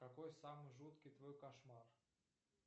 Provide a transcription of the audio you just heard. какой самый жуткий твой кошмар